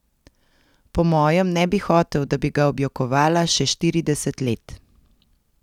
Po mojem ne bi hotel, da bi ga objokovala še štirideset let.